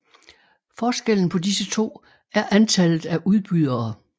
Forskellen på disse to er antallet af udbydere